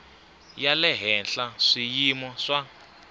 ya le henhla swiyimo swa